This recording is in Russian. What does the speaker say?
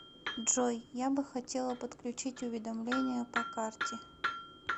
джой я бы хотела подключить уведомления по карте